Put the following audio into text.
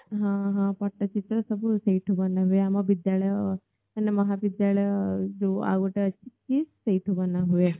ହଁ ହଁ ପଟ୍ଟ ଚିତ୍ର ସବୁ ସେଇଠୁ ବନା ହୁଏ ଆମ ବିଦ୍ୟାଳୟ ମାନେ ମହା ବିଦ୍ୟାଳୟ ଯୋ ଆଉ ଗଟେ ଅଛି KIIS ସେଇଠୁ ବନା ହୁଏ